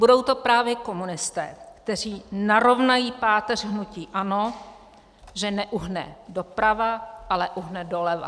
"Budou to právě komunisté, kteří narovnají páteř hnutí ANO, že neuhne doprava, ale uhne doleva."